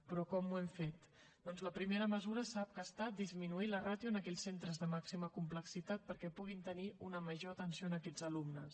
però com ho hem fet doncs la primera mesura sap que ha estat disminuir la ràtio en aquells centres de màxima complexitat perquè puguin tenir una major atenció a aquests alumnes